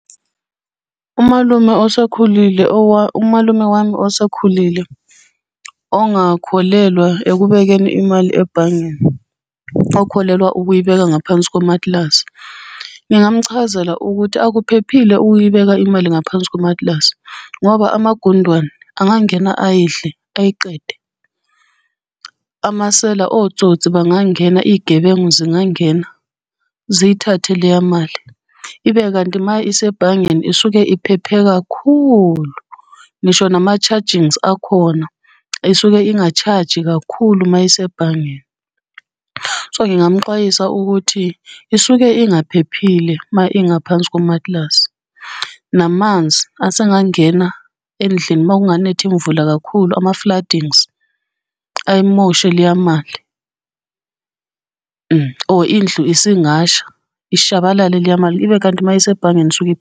Umalume osekhulile , umalume wami osekhulile ongakholelwa ekubekeni imali ebhangeni okholelwa ukuyibeka ngaphansi kwamatilasi, ngingamuchazela ukuthi akuphephile ukuyibeka imali ngaphansi kwamatilasi, ngoba amagundwane angangena ayidle ayiqede. Amasela otsotsi bangangena iy'gebengu zingangeni ziyithathe leya mali. Ibe kanti uma isebhangeni isuke iphephe kakhulu, ngisho nama-chargings akhona, isuke inga-charge-i kakhulu mayisebhangeni. So ngingamuxwayisa ukuthi isuke ingaphephile ma ingaphansi komatilasi. Namanzi asangangena endlini uma kunganetha imvula kakhulu, ama-floodings, ayimoshe leya mali or indlu isingasha ishabalale leya mali, ibe kanti uma isebhangeni .